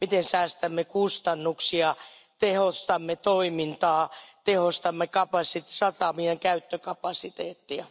Säästämme kustannuksia, tehostamme toimintaa ja tehostamme satamien käyttökapasiteettia.